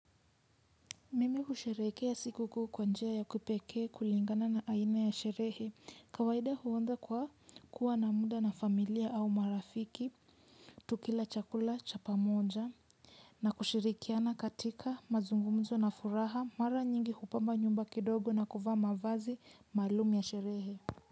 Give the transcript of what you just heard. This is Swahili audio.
Mimi husherekea sikukuu kwa njia ya kipekee kulingana na aina ya sherehe. Kawaida huanza kwa kuwa na muda na familia au marafiki. Tukila chakula cha pamoja na kushirikiana katika mazungumzo na furaha, mara nyingi hupamba nyumba kidogo na kuvaa mavazi maalum ya sherehe.